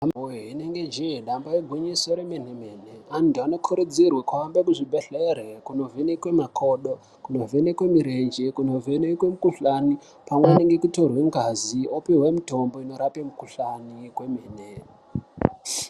Vanhu woye rinobainge jee damba igwinyiso remene mene vantu vanokurudzirwasa kuenda kuchibhehlere kundovhenekwe makodo ,kuvhenekwa murenje, kundovhenekwe mukuhlani pamwe nekutorwa ngazi vopuwa mutombo inorapa mukuhlani wemene mene.